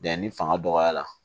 Yanni fanga dɔgɔya la